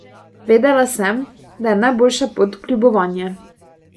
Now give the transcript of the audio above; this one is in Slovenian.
Vedela sem, da je najboljša pot kljubovanje.